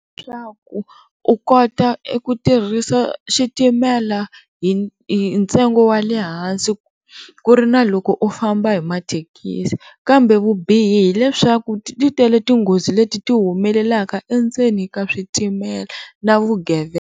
Leswaku u kota eku tirhisa xitimela hi ntsengo wa le hansi ku ri na loko u famba hi mathekisi kambe vubihi leswaku titele tinghozi leti ti humelelaka endzeni ka switimela na vugevenga.